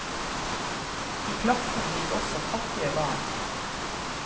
I klassen gikk også fattige barn.